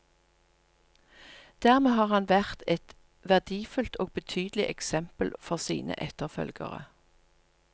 Dermed har han vært et verdifullt og betydelig eksempel for sine etterfølgere.